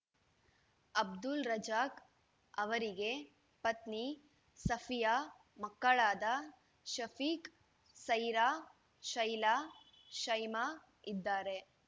ಅಬ್ದುಲ್‌ ರಜಾಕ್‌ ಅವರಿಗೆ ಪತ್ನಿ ಸಫಿಯಾ ಮಕ್ಕಳಾದ ಶಫೀಕ್‌ ಸೈರಾ ಶೈಲಾ ಶೈಮಾ ಇದ್ದಾರೆ